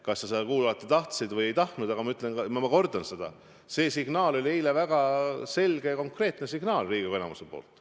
Kas sa seda kuulata tahtsid või ei tahtnud, aga ma kordan seda: see oli eile väga selge ja konkreetne signaal Riigikogu enamuselt.